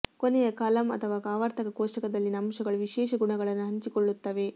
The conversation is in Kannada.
ಕೊನೆಯ ಕಾಲಮ್ ಅಥವಾ ಆವರ್ತಕ ಕೋಷ್ಟಕದಲ್ಲಿನ ಅಂಶಗಳು ವಿಶೇಷ ಗುಣಗಳನ್ನು ಹಂಚಿಕೊಳ್ಳುತ್ತವೆ